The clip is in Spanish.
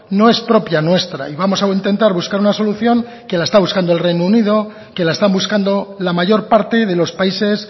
no es propia nuestra y vamos a intentar buscar una solución que la está buscando el reino unido que la están buscando la mayor parte de los países